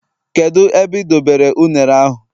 kedu ebe ị dobere ụnere ahu